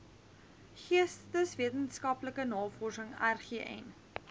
geesteswetenskaplike navorsing rgn